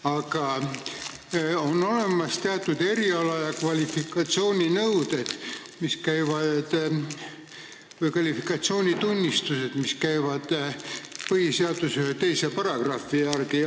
Aga on olemas teatud eriala- ja kvalifikatsioonitunnistused, mis käivad ühe teise põhiseaduse paragrahvi alla.